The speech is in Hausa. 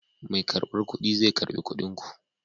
Mai karbar kuɗi zai karɓi kuɗin ku.